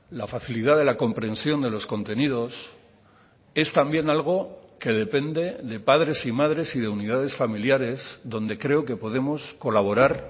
la facilidad de la comprensión de los contenidos es también algo que depende de padres y madres y de unidades familiares donde creo que podemos colaborar